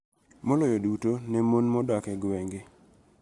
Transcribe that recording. Maloyo duto ne mon ma odak e gwenge,